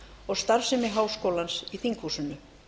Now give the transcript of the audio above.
og starfsemi háskólans í þinghúsinu